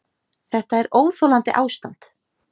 Þetta er óþolandi ástand!